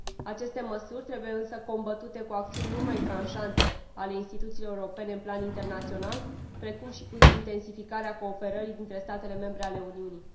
Aceste măsuri trebuie însă combătute cu acțiuni mult mai tranșante ale instituțiilor europene pe plan internațional, precum și cu intensificarea cooperării dintre statele membre ale Uniunii.